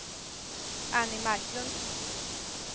Annie Marklund